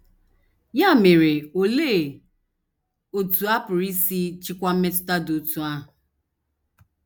Ya mere, olee otú a pụrụ isi chịkwaa mmetụta dị otú ahụ?